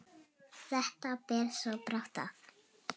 Þetta ber svo brátt að.